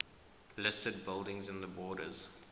listed buildings in the borders